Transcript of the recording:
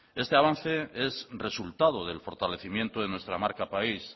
este avance es resultado del fortalecimiento de nuestra marca de país